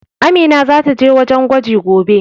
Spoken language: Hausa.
Amina zata je wajen gwaji gobe.